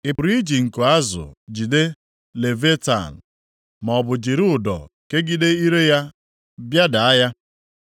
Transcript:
“Ị pụrụ iji nko azụ jide Leviatan maọbụ jiri ụdọ kegide ire ya bịada ya?